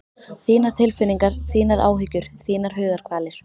Þínar tilfinningar, þínar áhyggjur, þínar hugarkvalir.